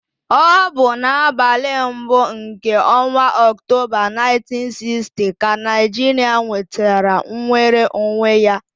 Ọ bụ n'abalị mbụ nke ọnwa Ọktoba 1960 ka Naijiria nwetara nnwere onwe ya.